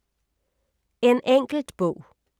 En enkelt bog